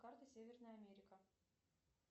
карта северная америка